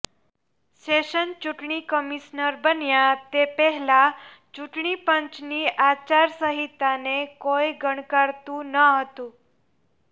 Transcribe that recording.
શેષન ચૂંટણી કમિશનર બન્યા તે પહેલાં ચૂંટણીપંચની આચારસંહિતાને કોઈ ગણકારતું ન હતું